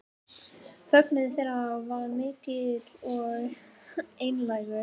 Fögnuður þeirra var mikill og einlægur